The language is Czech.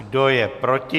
Kdo je proti?